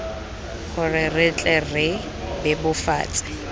gore re tle re bebofatse